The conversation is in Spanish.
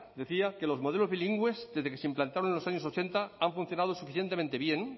decía que los modelos bilingües desde que se implantaron en los años ochenta han funcionado suficientemente bien